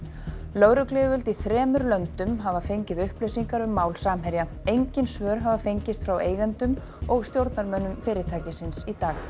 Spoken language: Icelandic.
lögregluyfirvöld í þremur löndum hafa fengið upplýsingar um mál Samherja engin svör hafa fengist frá eigendum og stjórnarmönnum fyrirtækisins í dag